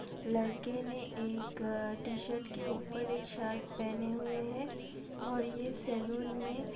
लड़के ने एक टी-शर्ट के ऊपर एक शर्ट पहने हुए है और ये सैलून में --